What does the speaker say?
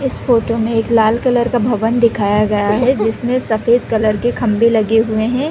इस फोटो में एक लाल कलर भवन दिखाया गया है जिसमे सफेद कलर खम्बे लगे हुए है।